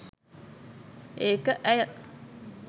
ඒක ඇය